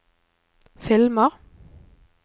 filmer